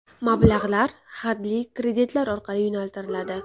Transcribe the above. Mablag‘lar hadli kreditlar orqali yo‘naltiriladi.